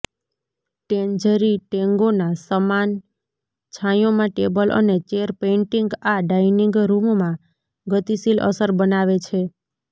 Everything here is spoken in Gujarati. ટેન્જરી ટેંગોના સમાન છાંયોમાં ટેબલ અને ચેર પેઇન્ટિંગ આ ડાઇનિંગ રૂમમાં ગતિશીલ અસર બનાવે છે